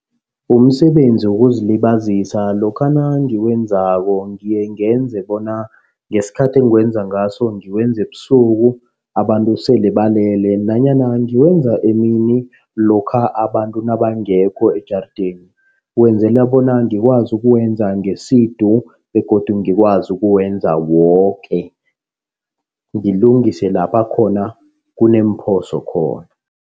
Umsebenzi wokuzilibazisa lokha nangiwenzako ngiye ngenze bona ngesikhathi engiwenza ngaso ngiwenza ebusuku. Abantu sele balele nanyana ngiwenza emini lokha abantu nabangekho ejarideni. Wenzela bona ngikwazi ukuwenza ngesidu begodu ngikwazi ukuwenza woke. Ngilungise lapha khona kuneemphoso khona.